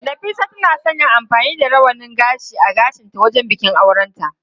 Nafisa tana son yin amfani da rawanin gashi a gashinta wajen bikin aurenta.